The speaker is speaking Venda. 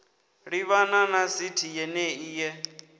livhana na sithi yenei ye